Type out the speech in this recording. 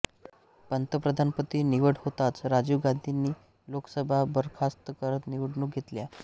पंतप्रधानपदी निवड होताच राजीव गांधीनी लोकसभा बरखास्त करत निवडणुका घेतल्या